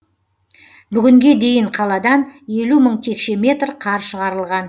бүгінге дейін қаладан елу мың текше метр қар шығарылған